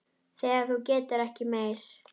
Þegar þú getur ekki meir.